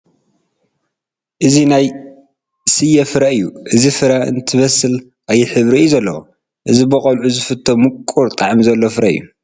እዚ ናይ ስየ ፍረ እዩ፡፡ እዚ ፍረ እንትበስል ቀይሕ ሕብሪ እዩ ዘለዎ፡፡ እዚ ብቆልዑ ዝፍቶ ምቑር ጣዕሚ ዘለዎ ፍረ እዩ፡፡